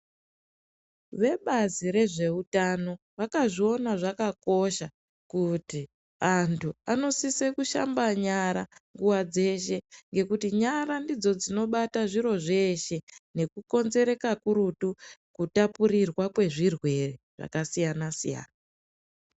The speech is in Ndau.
Vebazi rezveutano, vakazviona zvakakosha, kuti antu anosise kushamba nyara nguwa dzeshe, ngekuti nyara ndidzo dzinobata zviro zveeshe nekukonzere kakurutu ,kutapurirwa kwezvirwere, zvakasiyana-siyana.